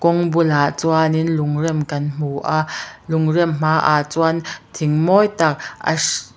kawng bulah chuanin lung rem kan hmu a lung rem hmaah chuan thing mawi tak a hring--